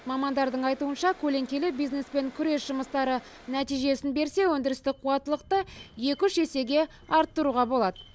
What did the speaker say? мамандардың айтуынша көлеңкелі бизнеспен күрес жұмыстары нәтижесін берсе өндірістік қуаттылықты екі үш есеге арттыруға болады